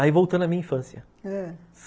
Aí voltando à minha infância, ãh